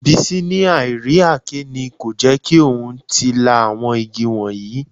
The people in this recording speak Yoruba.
Bísí ní àì rí àáké ni kò jẹ́ kí òun tí ì lá àwọn igi wọ̀nyí